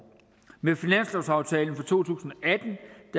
med finanslovsaftalen for to tusind